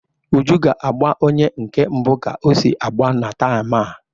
Uju ga-agba onye nke mbụ ka o si agba na taam a.